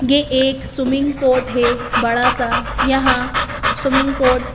ये एक swimming court है बड़ा सा यहां स्विमिंग कोर्ट --